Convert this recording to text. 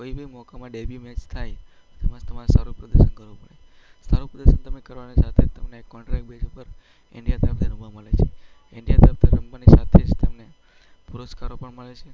કોઈ પણ મોકામાં ડેબ્યૂ મેચ થાય તેમાં તમારે સારું પ્રદર્શન કરવું પડે. સારાં પ્રદર્શન કરવાની સાથે જ તમને કોન્ટ્રાક્ટ બેઝ પર ઈન્ડિયા તરફથી રમવા મળે છે. ઈન્ડિયા તરફથી રમવાની સાથે જ તમને પુરસ્કારો પણ મળે છે.